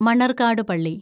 മണര്‍കാടു പള്ളി